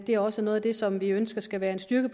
det er også noget af det som vi ønsker skal være en styrke